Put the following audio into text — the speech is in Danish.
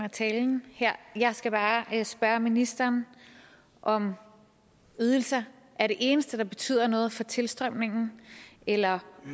af talen her jeg skal bare spørge ministeren om ydelser er det eneste der betyder noget for tilstrømningen eller